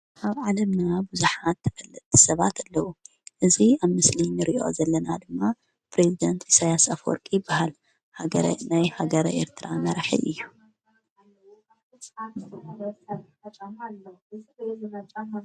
ኣብ ዓለምና ብዙሓት ተፈልጥቲ ሰባት ኣለዉ። እዙ ኣብ ምስሊንርእዮ ዘለና ድማ ፕሬዝደንት ኢሳያስ ኣፍወርቂ ይበሃል። ናይ ሃገረ ኤርትራ መራሕ እዩ።